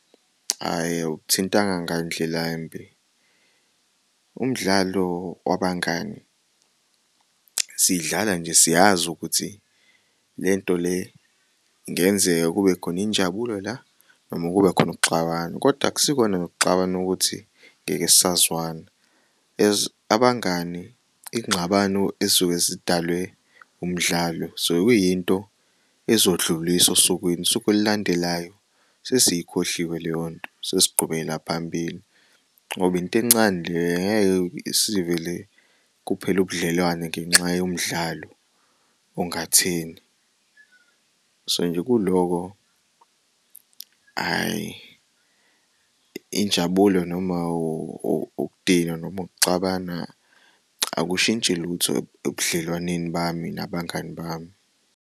Hhayi, awukuthintanga ngandlelambi umdlalo wabangani sidlala nje siyazi ukuthi lento le kungenzeka kubekhon'injabulo la noma kube khon'ukuxabana kodwa akusikona nokuxabana ukuthi ngeke sazwana. As abangani ingxabano ezisuke zidalwe umdlalo so kuyinto ezodluliswa osukwini usuk'olulandelayo sesiyikhohliwe leyonto sesiqhubekela phambili ngoba intencane le ngeke sivele kuphele ubudlelwano ngenxa yomdlalo ongatheni, so nje kuloko hhayi injabulo noma ukudinwa nomu'kuxabana akushintshi lutho ebudlelwaneni bami nabangani bami.